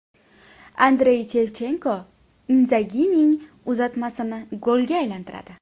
Andrey Shevchenko Indzagining uzatmasini golga aylantiradi.